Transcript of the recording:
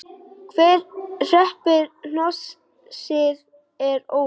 Hver hreppir hnossið er óvíst.